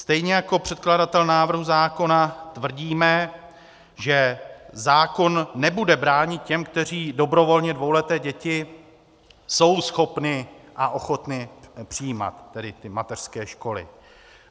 Stejně jako předkladatel návrhu zákona tvrdíme, že zákon nebude bránit těm, kteří dobrovolně dvouleté děti jsou schopni a ochotni přijímat - tedy ty mateřské školy.